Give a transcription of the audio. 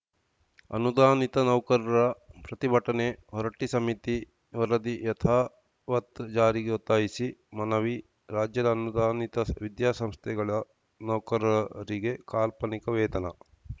ಅನುದಾನಿತ ನೌಕರರ ಪ್ರತಿಭಟನೆ ಹೊರಟ್ಟಿಸಮಿತಿ ವರದಿ ಯಥಾವತ್‌ ಜಾರಿಗೆ ಒತ್ತಾಯಿಸಿ ಮನವಿ ರಾಜ್ಯದ ಅನುದಾನಿತ ವಿದ್ಯಾಸಂಸ್ಥೆಗಳ ನೌಕರರಿಗೆ ಕಾಲ್ಪನಿಕ ವೇತನ